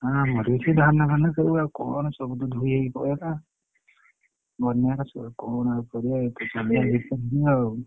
ଆମର ବି ସେଇ ଧାନ ଫାନ ସବୁ ଆଉ କଣ ସବୁ ତ ଧୋଇ ହେଇ ପଳେଇଲା? ବନ୍ୟାରେ ସବୁ କଣ ଆଉ କରିଆ ଏ ତ ସମୟ ଠିକ ନାହି ଆଉ।